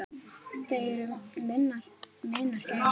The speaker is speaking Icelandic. Þau eru minnar gæfu smiðir.